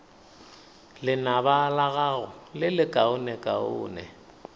lenaba la gago le lekaonekaone